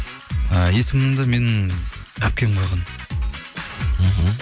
і есімімді менің әпкем қойған мхм